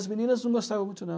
As meninas não gostavam muito, não.